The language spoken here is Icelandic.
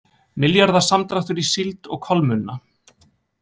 Milljarða samdráttur í síld og kolmunna